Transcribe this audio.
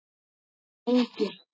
Nei, enginn.